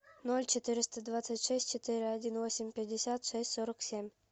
ноль четыреста двадцать шесть четыре один восемь пятьдесят шесть сорок семь